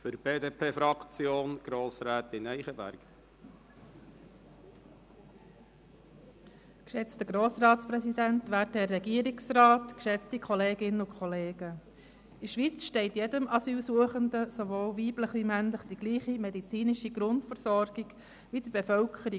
In der Schweiz steht allen Asylsuchenden, weiblichen wie männlichen, dieselbe medizinische Grundversorgung zu wie der Wohnbevölkerung.